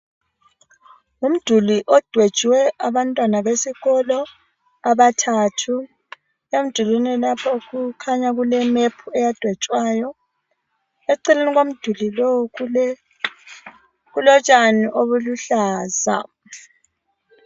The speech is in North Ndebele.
Umduli odwetshwe abantwana besikolo abathathu. Emdulwini lapha kukhanya kule"map" eyadwetshwayo. Eceleni komduli lowo kulotshani obuluhlaza.